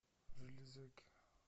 железяки